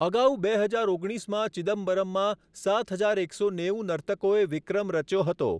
અગાઉ બે હજાર ઓગણીસમાં ચિદમ્બરમમાં સાત હજાર એકસો નેવું નર્તકોએ વિક્રમ રચ્યો હતો.